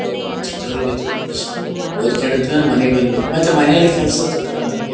ಒದ್ ಕೊಂಡಿದ್ವೇನೋ ಮನೆಗೆ ಬಂದ್ ವೇನೋ ಮತ್ ಮನೆಲ್ಲಿ ಕೆಲಸ ಇರ್ ತ್ತಿದ್ವೋ ನಮಗೆ.